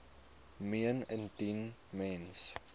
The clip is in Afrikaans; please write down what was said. meen indien mens